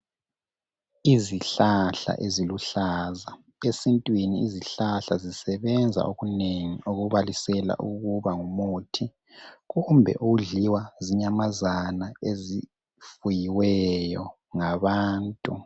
Izihlahla eziluhlaza esintwini izihlahla zisebenza okunengi okubalisela ukuba ngumuthi kumbe ukudliwa zinyamazana ezifuyiweyo ngabantu